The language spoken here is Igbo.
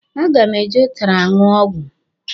A ga m e ji ụtara aṅụ ọgwụ.